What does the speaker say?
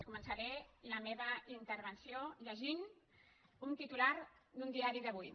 començaré la meva intervenció llegint un titular d’un diari d’avui